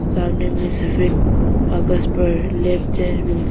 सामने में सफेद कागज पर लैब जांच भी लिखा--